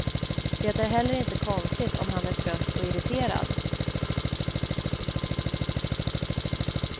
Det är heller inte konstigt om han är trött och irriterad.